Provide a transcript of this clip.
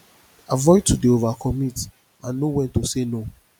avoid to dey overcommit and know when to say no